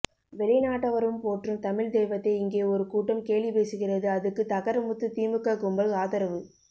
வெளிநாட்டவரும் போற்றும் தமிழ்த்தெய்வத்தை இங்கே ஒரு கூட்டம் கேலி பேசுகிறது அதுக்கு தகரமுத்து திமுக கும்பல் ஆதரவு